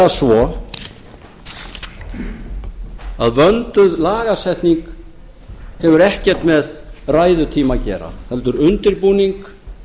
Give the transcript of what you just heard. nefnilega svo að vönduð lagasetning hefur ekkert með ræðutíma að gera heldur undirbúning